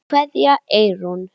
Kveðja, Eyrún.